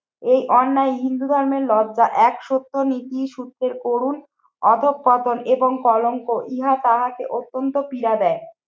এই অন্যায় হিন্দু ধর্মের লজ্জ্বা এক সত্য নীতি সত্যের করুন অধঃপতন এবং কলঙ্ক ইহা তাহাকে অত্যন্ত পীড়া দেয়।